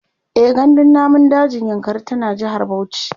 e gandun namun dajin yankari tana jehar Bauchi